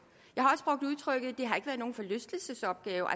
jeg nogen forlystelsesopgave